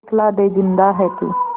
दिखला दे जिंदा है तू